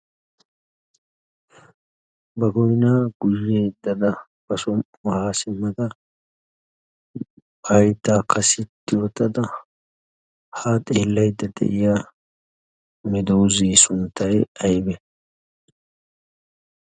ba goinaa guyyeettada ba som77u haasimada ba haytaakka sitti ootada ha xeellaidda de7iya medoze sunttai aibe?